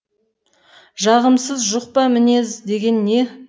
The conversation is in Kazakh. жағымсыз жұқпа мінез деген не